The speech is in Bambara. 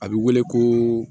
A bɛ wele ko